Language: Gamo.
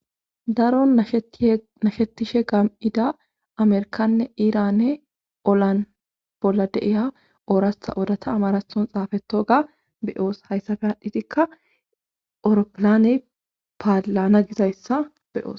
daro snashetishe gam7ida amerkanne iiranne olan bolla deiya oorasta odata amarason xaafato ga beyoos hayssafe haadhitikka eroppilane paalana gizayssa beyoos